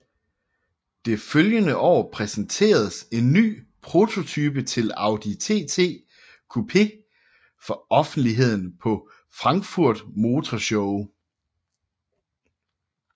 Det følgende år præsenteredes en prototype til Audi TT Coupé for offentligheden på Frankfurt Motor Show